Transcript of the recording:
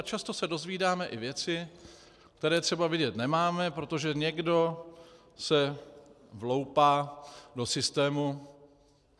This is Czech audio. A často se dozvídáme i věci, které třeba vědět nemáme, protože někdo se vloupá do systému.